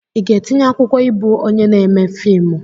Ị ga-etinye akwụkwọ ịbụ onye na-eme fiimu?